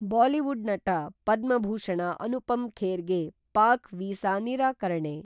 Bollywood ನಟ, ಪದ್ಮಭೂಷಣ ಅನುಪಮ್‌ ಖೇರ್‌ ಗೆ Pak visa ನಿರಾಕರಣೆ.